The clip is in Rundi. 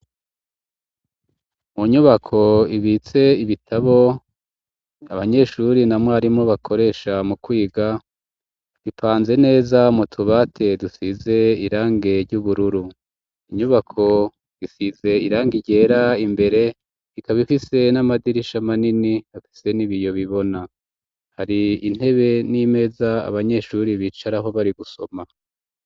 Mu nyubako ibitse ibitabo abanyeshuri na mwarimu bakoresha mu kwiga, bipanze neza m'utubati dusize irangi ry'ubururu, inyubako isize irangi ryera, imbere ikaba ifise n'amadirisha manini afise n'ibiyo bibona, hari intebe n'imeza abanyeshuri bicaraho bari gusoma.